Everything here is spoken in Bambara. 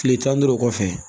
Kile tan duuru kɔfɛ